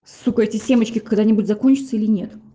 сука эти семечки когда-нибудь закончатся или нет